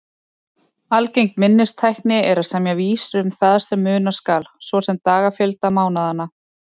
Algeng minnistækni er að semja vísur um það sem muna skal, svo sem dagafjölda mánaðanna.